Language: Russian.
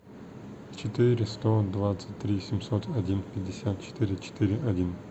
четыре сто двадцать три семьсот один пятьдесят четыре четыре один